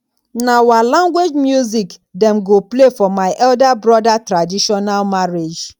na our language music dem go play for my elder brother traditional marriage